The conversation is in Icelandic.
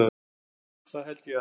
Það held ég að